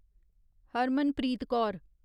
Harmanpreet Kaur